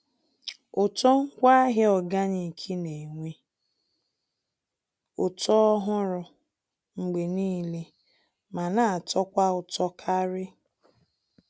Ụtọ ngwaahịa organic n'enwe ụtọ ọhụrụ mgbe niile ma n'atọkwa ụtọ karị.